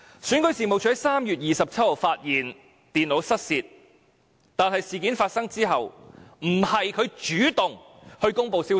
選舉事務處在3月27日發現電腦失竊，但事件發生後，不是它主動公布消息。